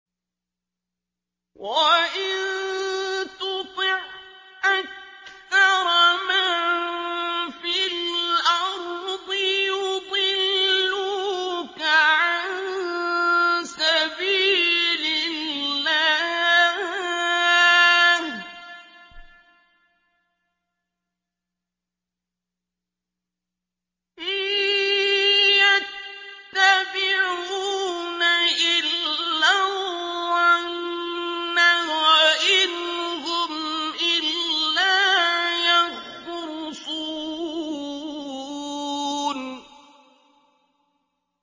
وَإِن تُطِعْ أَكْثَرَ مَن فِي الْأَرْضِ يُضِلُّوكَ عَن سَبِيلِ اللَّهِ ۚ إِن يَتَّبِعُونَ إِلَّا الظَّنَّ وَإِنْ هُمْ إِلَّا يَخْرُصُونَ